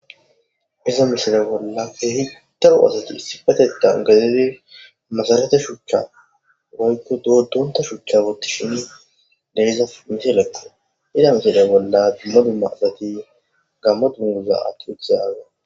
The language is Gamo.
Iza misile bolla he hittaru asati issifatetan gazidi masarate shuuchcha boykko doodonta shuchcha gottishin deyza misilekko ida misile bolla dimmoduma asati gammo dunmuza atti wuthe yaaga